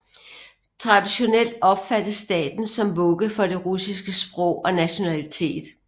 Traditionelt opfattes staten som vugge for det russiske sprog og nationalitet